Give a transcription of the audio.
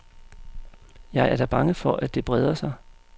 Jeg er da bange for, at det breder sig.